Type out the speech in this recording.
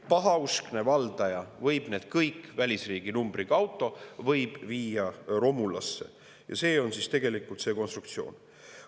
Pahauskne valdaja võib need kõik välisriigi numbriga autod viia romulasse, see on tegelikult see konstruktsioon.